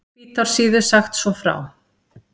Hvítársíðu sagt svo frá